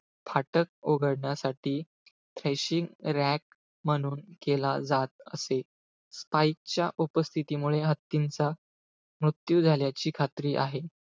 फाटक उघडण्यासाठी thrashing rack म्हणून केला जात असे. Spikes च्या उपस्थितीमुळे, हत्तींचा मृत्यू झाल्याची खात्री आहे.